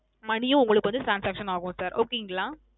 Money உம் உங்களுக்கு வந்து transaction ஆகும் Sir Okay ங்களா